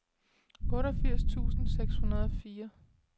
otteogfirs tusind seks hundrede og fire